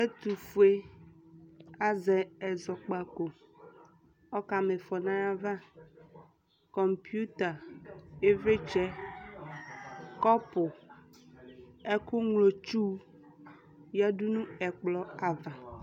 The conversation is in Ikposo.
ɛtofue azɛ ɛzɔkpako ɔka ma ifɔ no ayava komputa ivlitsɛ kɔpu ɛko ŋlo tsu yadu no ɛkplɔ ava